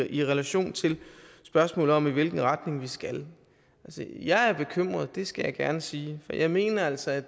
i relation til spørgsmålet om i hvilken retning vi skal jeg er bekymret skal jeg gerne sige og jeg mener altså at